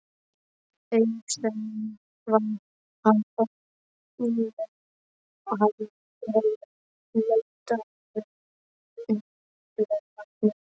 Auðséð var að ofninn hafði verið notaður nýlega.